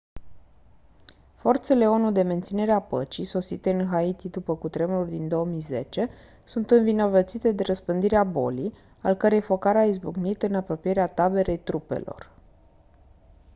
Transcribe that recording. forțele onu de menținere a păcii sosite în haiti după cutremurul din 2010 sunt învinovățite de răspândirea bolii al cărei focar a izbucnit în apropierea taberei trupelor